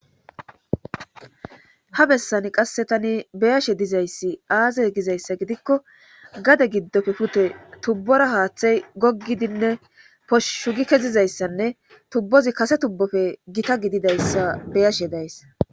ha bessani qasse tani beyashe dizayssi aazay gizayssa gidikko gade giddofe kute tubbora haaththey goggidinne poshshu gi kezizayssanne tubbozi kase tubbofe gita gididayssa beyashe days